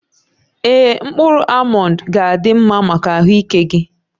Ee, mkpụrụ almọnd ga-adị mma maka ahụike gị